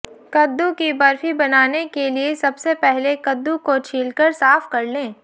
कद्दू की बर्फी बनाने के लिए सबसे पहले कद्दू को छीलकर साफ कर लें